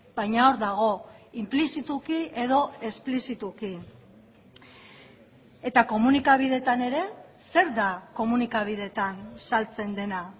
baina hor dago inplizituki edo esplizituki eta komunikabideetan ere zer da komunikabideetan saltzen dena